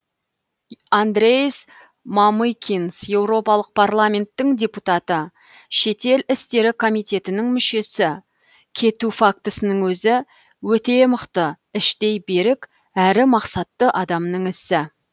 андрейс мамыкинс еуропалық парламенттің депутаты шетел істері комитетінің мүшесі кету фактісінің өзі өте мықты іштей берік әрі мақсатты адамның ісі